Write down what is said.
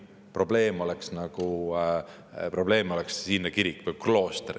Probleem oleks nagu siinne kirik või klooster.